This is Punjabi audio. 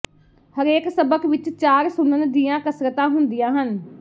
ਹਰੇਕ ਸਬਕ ਵਿੱਚ ਚਾਰ ਸੁਣਨ ਦੀਆਂ ਕਸਰਤਾਂ ਹੁੰਦੀਆਂ ਹਨ